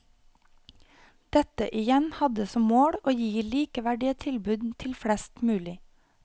Dette igjen hadde som mål å gi likeverdige tilbud til flest mulig.